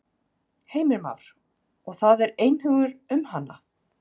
Heimir Már: Og það er einhugur um hana?